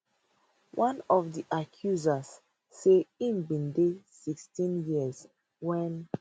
one of di accusers say im bin dey 16 years wen